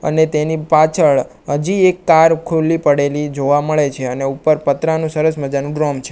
અને તેની પાછળ હજી એક કાર ખુલ્લી પડેલી જોવા મળે છે અને ઉપર પતરાનું સરસ મજાનું ગ્રોમ છે.